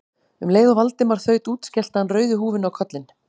Um leið og Valdimar þaut út skellti hann rauðu húfunni á kollinn.